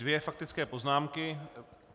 Dvě faktické poznámky.